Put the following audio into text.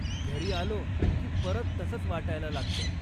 घरी आलो की परत तसंच वाटायला लागतं.